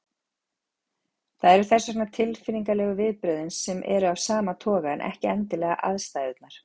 Það eru þess vegna tilfinningalegu viðbrögðin sem eru af sama toga en ekki endilega aðstæðurnar.